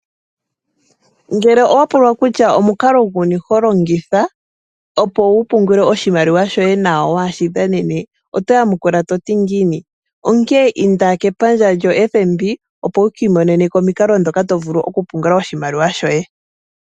Ngele owa pulwa kutya omukalo guni ho longitha, opo wu pungule oshimaliwa shoye nawa waa shi dhanene oto yamukula to ti ngiini? Onkene inda kepandja lyoFNB, opo wu ki imonene ko omikalo ndhoka to vulu okupungula oshimaliwa shoye.